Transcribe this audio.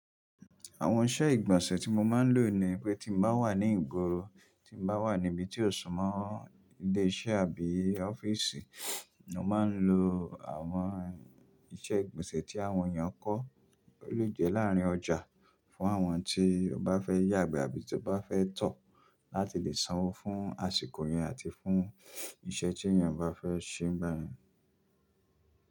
Àwọn iṣẹ́ ìgbọ̀nsẹ̀ tí mo máa ń lò ni pé tí mo bá wà ní ìgboro, tí mo bá wà níbi tí ò ṣùn mọ̀ ilé iṣẹ́ àbí ọ́fíìsì, mo máa ń lo àwọn iṣẹ́ ìgbọ̀nsẹ̀ tí àwọn èèyàn kọ́ lè jẹ láàárín ọjà fún àwọn tí ó bá fẹ́ yàgbẹ́ àbí tí ó bá fẹ́ tọ̀ láti lè sanwó fún àsìkò yẹn àti fún iṣẹ́ tí èèyàn bá fẹ́ ṣe ń bá yẹn.